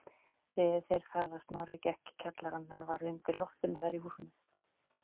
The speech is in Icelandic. Réðu þeir það að Snorri gekk í kjallarann er var undir loftinu þar í húsunum.